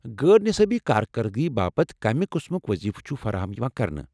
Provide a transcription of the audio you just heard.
غٲر نِصٲبی كاركردگی باپت کمہِ قٕسمُك وضیفہٕ چُھ فراہم یوان کرنہٕ؟